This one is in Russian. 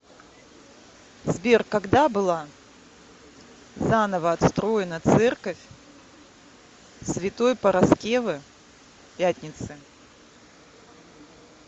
сбер когда была заново отстроена церковь святой параскевы пятницы